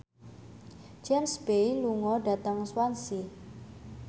James Bay lunga dhateng Swansea